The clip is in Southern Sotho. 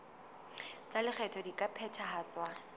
tsa lekgetho di ka phethahatswa